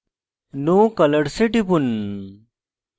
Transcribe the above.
no colors এ টিপুন